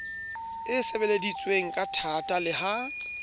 e sebeleditsweng kathata le ha